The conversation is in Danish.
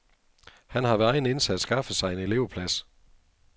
Han har ved egen indsats skaffet sig en elevplads.